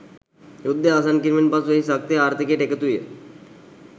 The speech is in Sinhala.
යුද්ධය අවසන් කිරීමෙන් පසු එහි ශක්තිය ආර්ථිකයට එකතු විය.